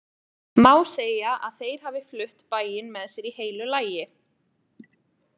Má segja að þeir hafi flutt bæinn með sér í heilu lagi.